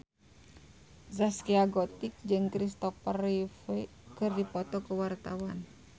Zaskia Gotik jeung Christopher Reeve keur dipoto ku wartawan